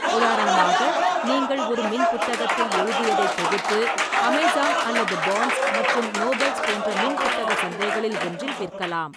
உதாரணமாக, நீங்கள் ஒரு மின்புத்தகத்தில் எழுதியதை தொகுத்து அமேசான் அல்லது பான்ஸ் மற்றும் நோபல்ஸ் போன்ற மின்புத்தக சந்தைகளில் ஒன்றில் விற்கலாம்.